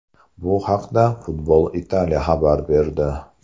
Bu haqda Football Italia xabar berdi .